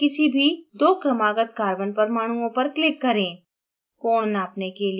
दूरी नापने के लिए किसी भी दो क्रमागत carbon परमाणुओं पर click करें